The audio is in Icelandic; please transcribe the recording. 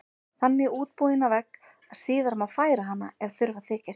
Þannig útbúin á vegg að síðar má færa hana ef þurfa þykir.